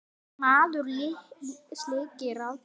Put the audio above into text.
Maður sér ykkur aldrei saman.